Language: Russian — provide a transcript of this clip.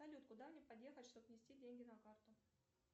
салют куда мне подъехать чтобы внести деньги на карту